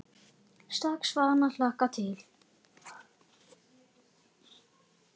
Strax farin að hlakka til.